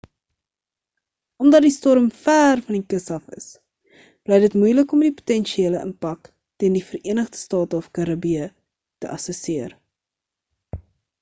omdat die storm ver van die kus af is bly dit moelik om die potensiële impak teen die verenigde state of karibië te assesseer